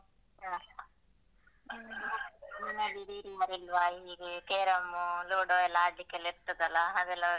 ಹ. ನಿಮ್ಮಲ್ಲಿ ಹೀಗೆ carrom ludo ಎಲ್ಲ ಆಡ್ಲಿಕ್ಕೆಲ್ಲ ಇರ್ತದಲ್ಲಅದೆಲ್ಲಾ?